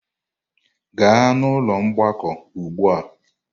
Gaa n'ụlọ mgbakọ ugbu a!